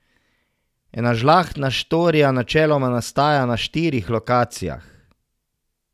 Ena žlahtna štorija načeloma nastaja na štirih lokacijah.